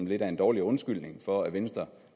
lidt af en dårlig undskyldning for at venstre